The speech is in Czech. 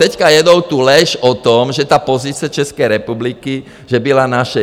Teď jedou tu lež o tom, že ta pozice České republiky, že byla naše.